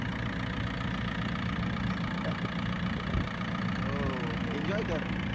हो enjoy कर.